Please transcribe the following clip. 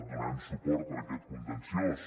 donarem suport a aquest contenciós